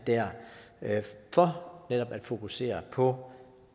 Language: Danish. der for netop at fokusere på